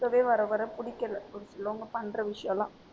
இருக்கவே வர வர பிடிக்கல ஒரு சிலவங்க பண்ற விஷயம்லாம்.